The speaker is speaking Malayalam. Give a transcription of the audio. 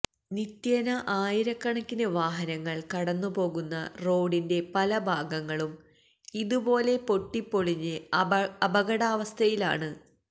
നിത്യേന ആയിരക്കണക്കിന് വാഹനങ്ങള് കടന്നുപോകുന്ന റോഡിന്റെ പലഭാഗങ്ങളും ഇതുപോലെ പൊട്ടിപ്പൊളിഞ്ഞ് അപകടാവസ്ഥയിലാണ്